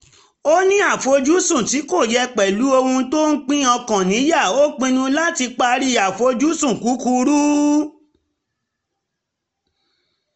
ó ní àfojúsùn tí kò yẹ̀ pẹ̀lú ohun tó ń pín ọkàn níyà ó pinnu láti parí àfojúsùn kúkurú